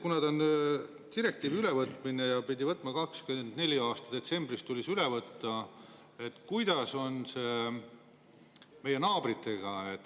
Kuna tegemist on direktiivi ülevõtmisega ja see tuli üle võtta 2024. aasta detsembriks, siis kuidas on meie naabritega?